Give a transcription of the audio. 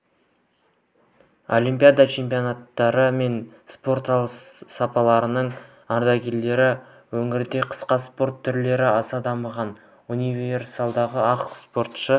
олимпиада чемпиондары мен спорт саласының ардагерлері өңірде қысқы спорт түрлері аса дамымағандықтан универсиадаға ақ спортшы